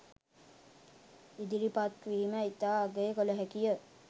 ඉදිරිපත්වීම ඉතා අගය කළ හැකිය.